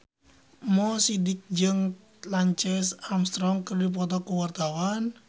Mo Sidik jeung Lance Armstrong keur dipoto ku wartawan